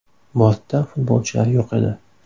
Bortda futbolchilar yo‘q edi.